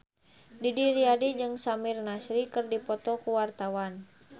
Didi Riyadi jeung Samir Nasri keur dipoto ku wartawan